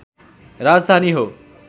राजधानी हो